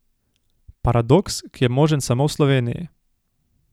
Paradoks, ki je možen samo v Sloveniji.